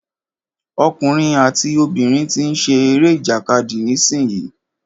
Ọkùnrin àti obìnrin tí ń ṣe eré ìjàkadì nísìyí.